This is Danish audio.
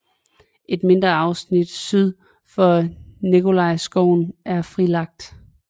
Et mindre afsnit syd for Nikolajskoven er frilagt